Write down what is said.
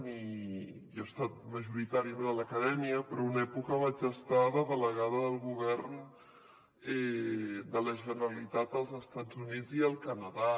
jo he estat majoritàriament a l’acadèmia però en una època vaig estar de delegada del govern de la generalitat als estats units i el canadà